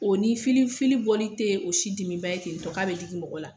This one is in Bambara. O ni fili fili bɔli te o si dimiba ye ten to k'a bɛ digi mɔgɔ la.